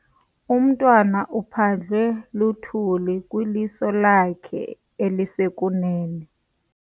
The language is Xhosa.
Umntwana uphandlwe luthuli lwiliso lakhe elisekunene.